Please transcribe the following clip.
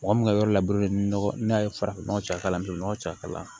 Mɔgɔ min ka yɔrɔ labure nɔgɔ n'a ye farafin nɔgɔ caya n ye nɔgɔ caya kala